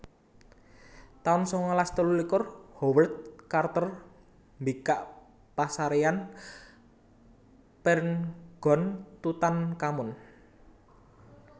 taun sangalas telulikur Howard Carter mbikak pasaréyan Pirngon Tutankhamun